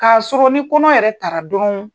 K'a sɔrɔ ni kɔnɔ yɛrɛ tara dɔrɔn